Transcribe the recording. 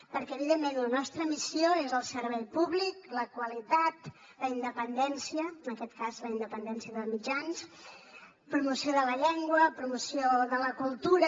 perquè evidentment la nostra missió és el servei públic la qualitat la independència en aquest cas la independència dels mitjans promoció de la llengua promoció de la cultura